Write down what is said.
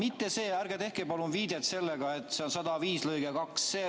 Ärge palun tehke enam viidet sellele § 105 lõikele 2.